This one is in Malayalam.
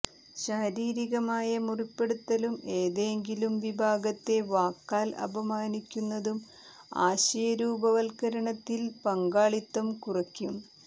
ശാരീരികമായ മുറിപ്പെടുത്തലും ഏതെങ്കിലും വിഭാഗത്തെ വാക്കാൽ അപമാനിക്കുന്നതും ആശയ രൂപവത്കരണത്തിൽ പങ്കാളിത്തം കുറക്കും